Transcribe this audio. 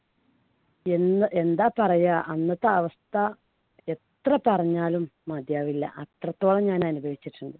എന്‍ എന്താ പറയാ അന്നത്തെ അവസ്ഥ എത്ര പറഞ്ഞാലും മതിയാവില്ല. അത്രത്തോളം ഞാൻ അനുഭവിച്ചിട്ടുണ്ട്.